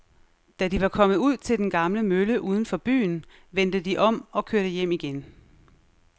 Da de var kommet ud til den gamle mølle uden for byen, vendte de om og kørte hjem igen.